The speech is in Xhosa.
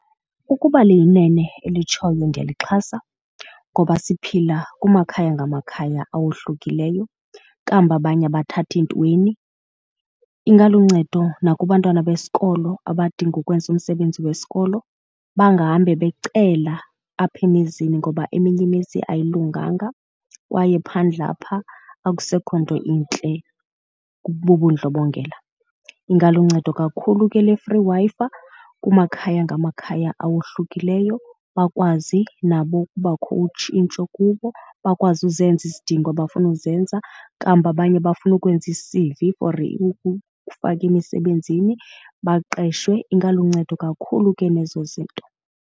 Ukuba liyinene elitshoyo ndiyalixhasa ngoba siphila kumakhaya ngamakhaya awohlukileyo kambi abanye abathathi ntweni. Ingaluncedo nakubantwana besikolo abadinga ukwenza umsebenzi wesikolo bangahambi becela apha emizini ngoba eminye imizi ayilunganga kwaye phandle apha akusekho nto intle bubudlobongela. Ingaluncedo kakhulu ke le free Wi-Fi kumakhaya ngamakhaya awohlukileyo bakwazi nabo ukubakho utshintsho kubo bakwazi uzenza izidingo abafuna ukuzenza. Kambi abanye bafuna ukwenza i-C_V for ukufaka emisebenzini baqeshwe. Ingaluncedo kakhulu ke nezo zinto.